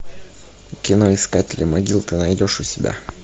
кино искатели могил ты найдешь у себя